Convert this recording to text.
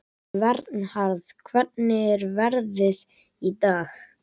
Vernharð, hvernig er veðrið í dag?